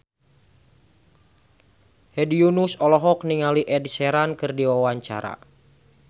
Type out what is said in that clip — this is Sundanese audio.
Hedi Yunus olohok ningali Ed Sheeran keur diwawancara